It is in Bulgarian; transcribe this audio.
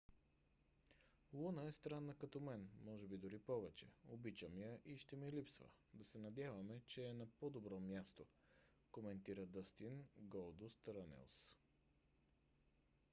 луна е странна като мен...може би дори повече...обичам я и ще ми липсва...да се надяваме че е на по - добро място коментира дъстин голдуст рънелс